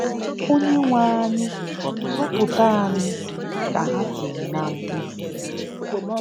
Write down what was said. "Onyenweanyị, zọpụta anyị,” ka ha tiri na mkpu.